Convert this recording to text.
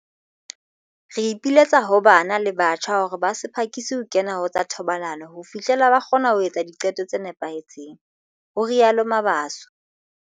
"Re ipiletsa ho bana le batjha hore ba se phakise ho kena ho tsa thobalano ho fihlela ba kgona ho etsa diqeto tse nepahetseng," ho rialo Mabaso.